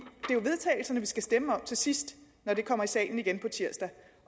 skal stemme om til sidst når vi kommer i salen igen på tirsdag